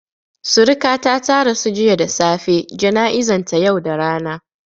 Suriƙata ta rasu jiya da safe, jana'izan ta yau da rana